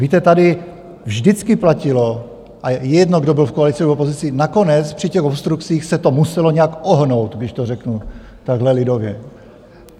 Víte, tady vždycky platilo, a jedno, kdo byl v koalici, kdo v opozici, nakonec při těch obstrukcích se to muselo nějak ohnout, když to řeknu takhle lidově.